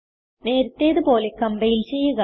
നേരത്തേതു പോലെ കംപൈൽ ചെയ്യുക